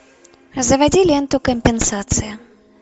заводи ленту компенсация